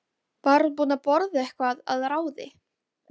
Var hún búin að borða eitthvað að ráði?